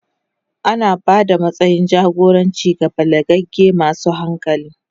Ana ba da matsayin jagoranci ga balagagge masu hankali.